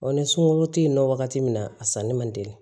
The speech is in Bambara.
ni sunkuru tɛ yen nɔ wagati min na a sanni man teli